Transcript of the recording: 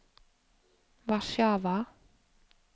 Warszawa